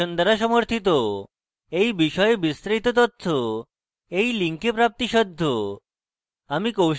এই বিষয়ে বিস্তারিত তথ্য এই link প্রাপ্তিসাধ্য